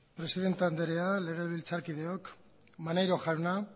presidente anderea legebiltzarkideok maneiro jauna